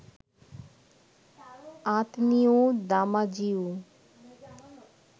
আঁতনিউ দামাজিউ